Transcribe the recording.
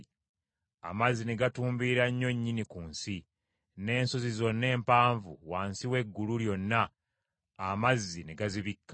Amazzi ne gatumbiira nnyo nnyini ku nsi, n’ensozi zonna empanvu wansi w’eggulu lyonna amazzi ne gazibikka.